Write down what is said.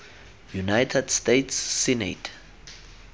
united states senate